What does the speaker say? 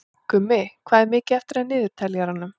Gummi, hvað er mikið eftir af niðurteljaranum?